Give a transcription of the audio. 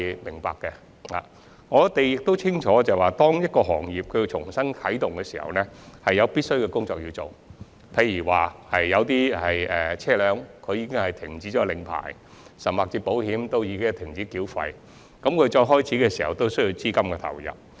其實，大家都清楚明白，當一個行業要重新啟動時，必須做很多工作，例如有車輛的牌照已過期，甚至已停交保險費用，當重新開業時便需投入資金。